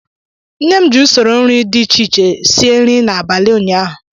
Nne m ji usoro nri dị iche si nri n'abalị ụnyaahụ